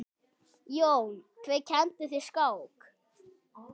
Jón: Hver kenndi þér skák?